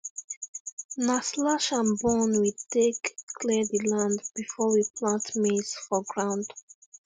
na slashandburn we take clear the land before we plant maize for ground